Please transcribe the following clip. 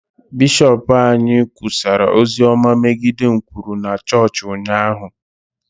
bishọp anyị kwusara ozi ọma megide nkwulu na chọọchị ụnyahụ